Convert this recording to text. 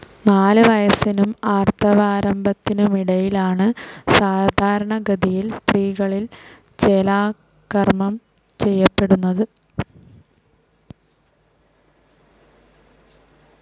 നാലുവയസ്സിനും ആർത്തവാരംഭത്തിനുമിടയിലാണ് സാധാരണഗതിയിൽ സ്ത്രീകളിൽ ചേലാകർമ്മം ചെയ്യപ്പെടുന്നത്.